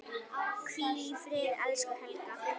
Hvíl í friði, elsku Helga.